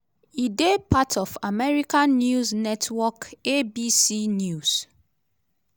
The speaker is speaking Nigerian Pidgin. e dey part of american news network abc news.